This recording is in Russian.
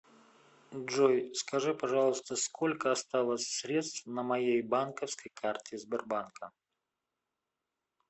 джой скажи пожалуйста сколько осталось средств на моей банковской карте сбербанка